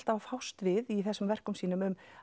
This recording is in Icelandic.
að fást við í þessum verkum sínum